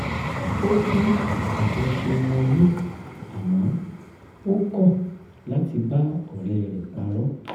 ó pọ́n àjọṣe wọn lé àmọ́ ó kọ̀ láti bá ọ̀rẹ́ rẹ̀ parọ́